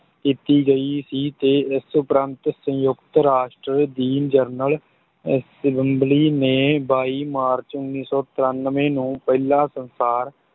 ਕੀਤੀ ਗਈ ਸੀ ਤੇ ਇਸ ਉੱਪਰੰਤ ਸੰਯੁਕਤ ਰਾਸ਼ਟਰ ਦੀ ਜਨਰਲ assembly ਨੇ ਬਾਈ ਮਾਰਚ ਉੱਨੀ ਸੌ ਤਰਾਨਵੇਂ ਨੂੰ ਪਹਿਲਾਂ ਸੰਸਾਰ